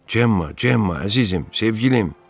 Cemma, Cemma, əzizim, sevgilim!